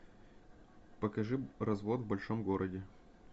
покажи развод в большом городе